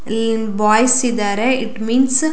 ಇಲ್ಲಿ ಬಾಯ್ಸ್ ಇದಾರೆ it means --